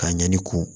Ka ɲɛni kun